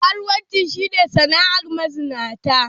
Karuwanci shi ne sana'ar mazinata.